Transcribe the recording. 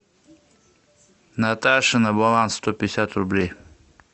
наташе на баланс сто пятьдесят рублей